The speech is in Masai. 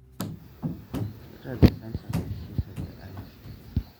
kakua irbulabol lena moyian oo nkonyek naji enkoye?